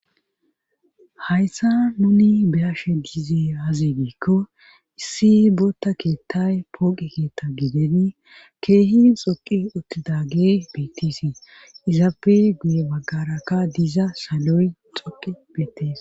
hayssa nuni beyashe diize aazegiikko issi bootta keettay pooqi keetta gideni keehin xoqi uttidage bettisi izaappe guye baggaraka diza saloy xoqi beettis